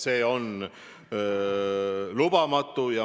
See on lubamatu.